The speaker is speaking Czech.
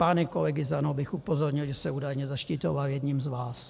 Pány kolegy z ANO bych upozornil, že se údajně zaštiťoval jedním z vás.